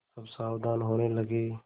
सब सावधान होने लगे